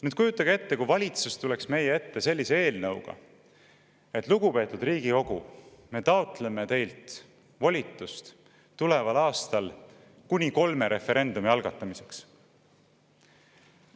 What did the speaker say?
Nüüd, kujutage ette, kui valitsus tuleks meie ette sellise eelnõuga, et lugupeetud Riigikogu, me taotleme teilt volitust tuleval aastal kuni kolme referendumi algatamiseks.